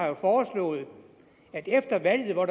har foreslået at efter valget hvor